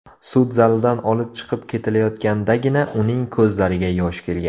Sud zalidan olib chiqib ketilayotgandagina, uning ko‘zlariga yosh kelgan.